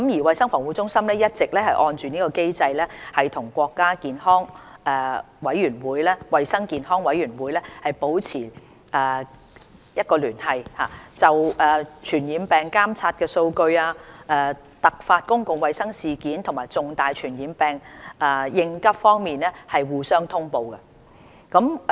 衞生防護中心一直按機制與國家衞健委保持聯繫，就傳染病監測數據、突發公共衞生事件和重大傳染病應急方面互相通報。